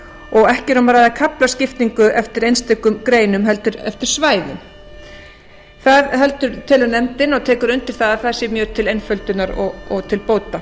og ekki er um að ræða kaflaskiptingu eftir einstökum greinum heldur eftir svæðum það telur nefndin og tek ég undir að það sé mjög til einföldunar og til bóta